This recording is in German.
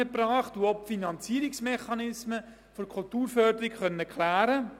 Ich denke, man kann wirklich sagen, dass uns dies auch für den Kanton Bern freut.